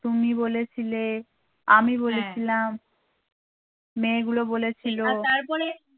তুমি বলেছিলে আমি বলেছিলাম মেয়েগুলো বলেছিলো